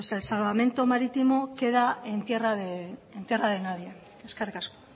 pues el salvamento marítimo queda en tierra de nadie eskerrik asko